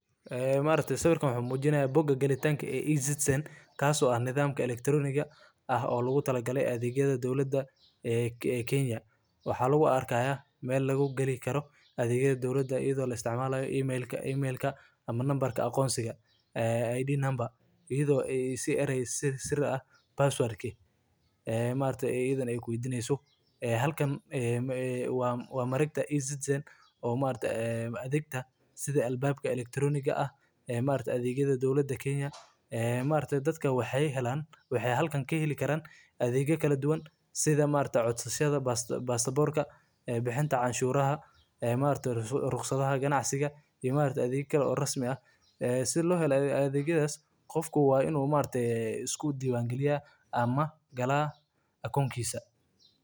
Waa madal casri ah oo dowladda Kenya ay u sameysay si ay u fududeyso adeegyada dowladda ee elektaroonigga ah, iyadoo ka dhigeysa mid sahlan in muwaadiniinta iyo dadka degan ay helaan adeegyo kala duwan iyagoo jooga gurigooda ama meel kasta oo ay joogaan. Madalkan wuxuu bixiyaa adeegyo badan sida codsashada baasaboorka, helitaanka rukhsadda darawalnimada, bixinta canshuuraha, iyo diiwaangelinta ganacsiyada, taasoo ka caawisa dadka inay waqtigooda iyo kharashkooda badbaadiyaan.